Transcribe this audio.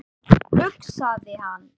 hugsaði hann.